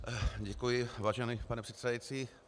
Děkuji, vážený pane předsedající.